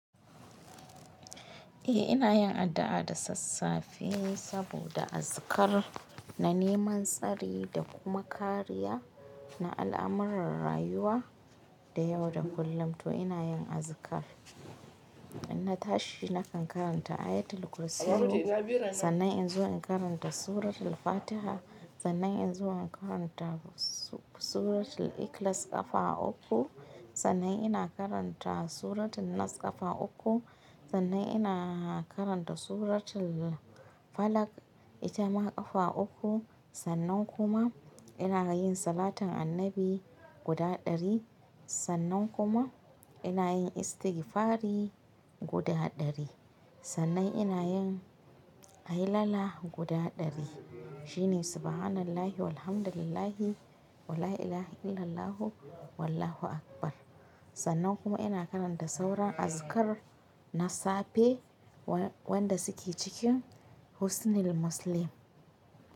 Eh ina yin addu'a da sassafi saboda azikar na neman tsari da kuma kariya na al'amuran rayuwa da yau da kullum to ina yin azikar. In na tashi nakan karanta ayatul kursiyu, sannan in zo in karanta suratul fatiha, sannan in zo in karanta suratul ikhlas ƙafa uku, sannan ina karanta suratin nas ƙafa uku, sannan ina karanta suratul falak ita ma ƙafa uku, sannan kuma ina yin salatan annabi guda ɗari, sannan kuma ina yin istigfari guda ɗari, sannan ina yin ahillallah guda ɗari shine subhanallahi walhamdulillahi wala ila ha illallahu wallahu akbar. Sannan kuma ina karanta sauran azikar na safe wanda suke cikin husnil muslim.